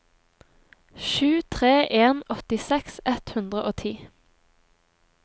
sju tre en en åttiseks ett hundre og ti